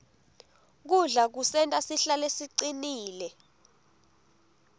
kudla kusenta sihlale sicinile